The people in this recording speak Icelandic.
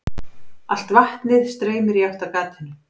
Allt vatnið streymir í átt að gatinu.